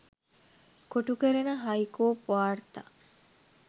කොටු කරන හයිකෝප් වාර්තා